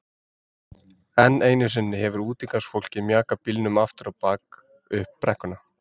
Enn einu sinni hefur útigangsfólkið mjakað bílnum aftur á bak upp brekkuna.